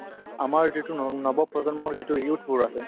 আমাৰ যিটো ন নৱপ্ৰজন্মৰ যিটো youth বোৰ আছে ।